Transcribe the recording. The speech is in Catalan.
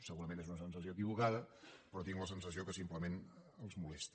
segurament és una sensació equivocada però tinc la sensació que simplement els molesta